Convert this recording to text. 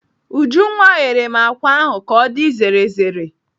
Ujunwa ghere m àkwá ahụ ka ọ dị zere zere.